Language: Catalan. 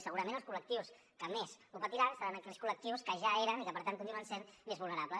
i segurament els col·lectius que més ho patiran seran aquells col·lectius que ja eren i que per tant continuen sent més vulnerables